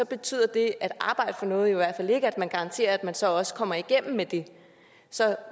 betyder det at arbejde for noget jo i hvert fald ikke at man garanterer at man så også kommer igennem med det så